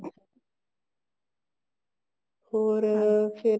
ਹੋਰ ਅਮ ਫ਼ੇਰ